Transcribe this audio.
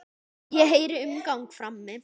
Hún heyrir umgang frammi.